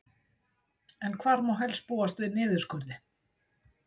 En hvar má helst búast við niðurskurði?